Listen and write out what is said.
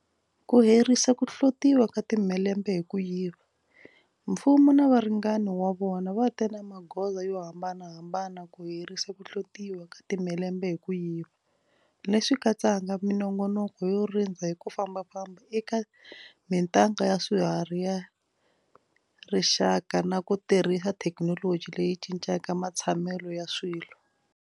Ku herisa ku hlotiwa ka timhelembe hi ku yiva Mfumo na varingani va wona va te na magoza yo hambanahambana ku herisa ku hlotiwa ka timhelembe hi ku yiva, leswi katsaka minongonoko yo rindza hi ku fambafamba eka mitanga ya swiharhi ya rixaka na ku tirhisa thekinoloji leyi cincaka matshamelo ya swilo.